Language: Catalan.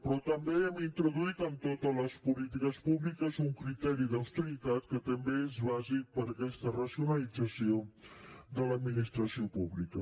però també hem introduït en totes les polítiques públiques un criteri d’austeritat que també és bàsic per a aquesta racionalització de l’administració pública